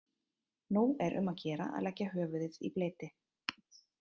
Nú er um að gera að leggja höfuðið í bleyti.